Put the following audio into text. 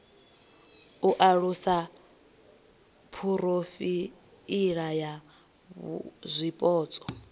u alusa phurofaili ya zwipotso